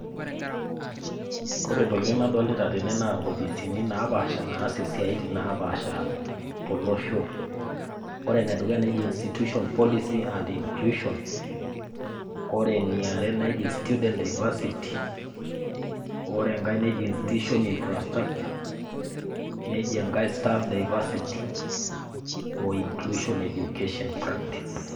Kore intokitin nadolita tene naa inkofisini naapaasha naas isiaitin naapasha tolosho. Ore enedukuya neji institution policy and inclusion, ore eniare neji student diversity ore enkai neji institution infrastructure, neji enkai staff diversity o inclusion education practice.